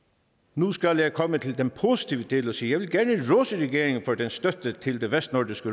nu skal jeg komme til den positive del og sige at jeg gerne vil rose regeringen for dens støtte til vestnordisk